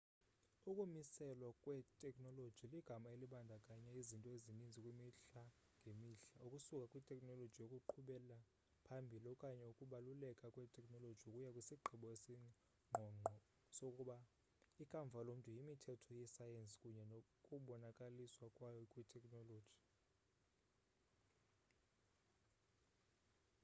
ukumiselwa kwetekhnoloji ligama elibandakanya izinto ezininzi kwimihla ngemihla ukusuka kwitekhnoloji yokuqhubela phambili okanye ukubaluleka kwetekhnoloji ukuya kwisigqibo esingqongqo sokuba ikamva lomntu yimithetho yesayensi kunye nokubonakaliswa kwayo kwitekhnoloji